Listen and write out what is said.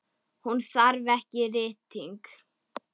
Hún þarf ekki rýting.